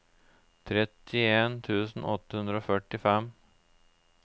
trettien tusen åtte hundre og førtifem